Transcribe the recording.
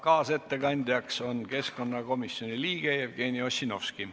Kaasettekandjaks on keskkonnakomisjoni liige Jevgeni Ossinovski.